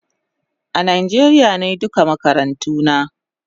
A Nijeria nayi duka makarantuna